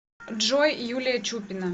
джой юлия чупина